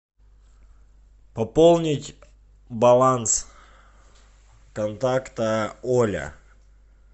пополнить баланс контакта оля